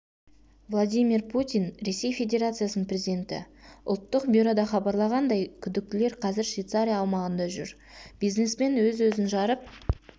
владимир путин ресей федерациясының президенті ұлттық бюрода хабарлағандай күдіктілер қазір швейцария аумағында жүр бизнесмен өз-өзін жарып